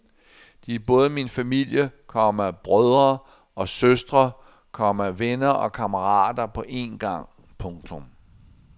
De er både min familie, komma brødre og søstre, komma venner og kammerater på én gang. punktum